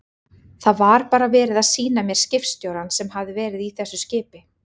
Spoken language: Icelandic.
Það var bara verið að sýna mér skipstjórann sem hafði verið í þessu skipi.